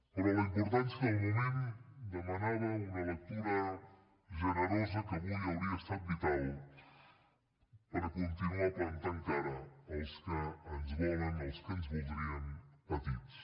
però la importància del moment demanava una lectura generosa que avui hauria estat vital per continuar plantant cara als que ens volen als que ens voldrien petits